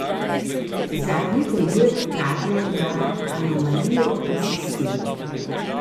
Zadnji primer kaže na anomalijo v sistemu.